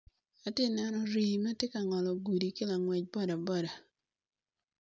Ati ka neno rii ma ti ka ngolo gudi ki langwec boda boda.